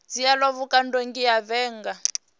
dzhielwa vhukando nge a vhiga